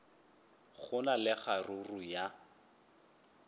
go na le kgaruru ya